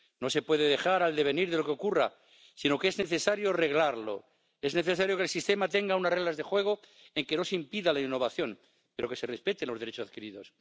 No se puede dejar al devenir de lo que ocurra, sino que es necesario reglarlo, es necesario que el sistema tenga unas reglas de juego en que no se impida la innovación, pero que se respeten los derechos adquiridos.